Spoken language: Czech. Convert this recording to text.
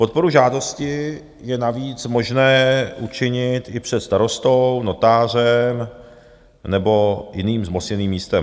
Podporu žádosti je navíc možné učinit i před starostou, notářem nebo jiným zmocněným místem.